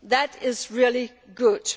That is really good.